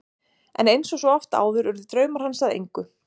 En eins og svo oft áður urðu draumar hans að engu.